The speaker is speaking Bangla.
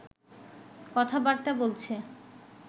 কথা-বার্তা বলছে